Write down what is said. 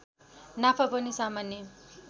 नाफा पनि सामान्य